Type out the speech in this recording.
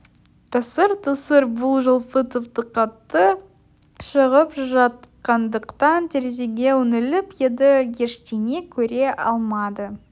тасыр-тұсыр бұл жолы тіпті қатты шығып жатқандықтан терезеге үңіліп еді ештеңе көре алмады